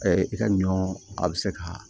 i ka ɲɔ a bɛ se ka